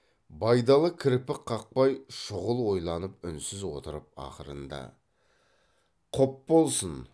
байдалы кірпік қақпай шұғыл ойланып үнсіз отырып ақырында құп болсын